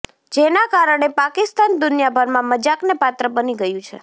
જેના કારણે પાકિસ્તાન દુનિયાભરમાં મજાકને પાત્ર બની ગયું છે